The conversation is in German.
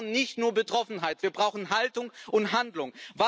Und wir brauchen nicht nur Betroffenheit, wir brauchen Haltung und Handlung!